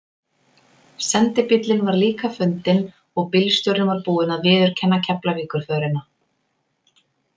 Sendibíllinn var líka fundinn og bílstjórinn var búinn að viðurkenna Keflavíkurförina.